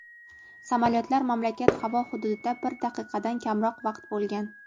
Samolyotlar mamlakat havo hududida bir daqiqadan kamroq vaqt bo‘lgan.